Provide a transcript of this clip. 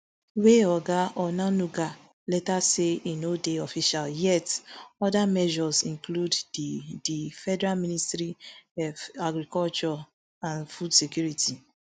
wey oga onanuga later say e no dey official yet oda measures include di di federal ministry f agriculture and food security